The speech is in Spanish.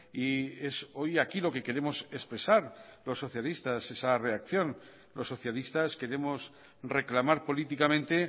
y es hoy aquí lo que queremos expresar los socialistas esa reacción los socialistas queremos reclamar políticamente